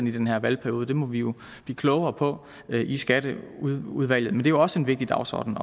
i den her valgperiode det må vi jo blive klogere på i skatteudvalget men jo også en vigtig dagsorden